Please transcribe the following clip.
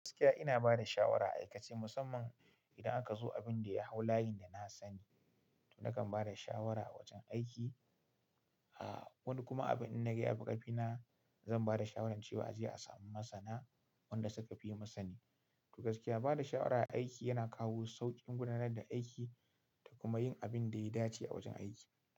Gaskiya ina bada shawara a aikace musamman idan aka zo abinda ya hau layin da na sani to nakan bada shawara a wajen aiki. Ah wani kuma abin inda na ga ya fi ƙafina zan bada shawaran cewa a je a samu masana wanda suka fi yi masani. To gaskiya bada shawara a aiki yana kawo sauƙin gudanar da aiki da kuma yin abin da ya dace a wajen aiki.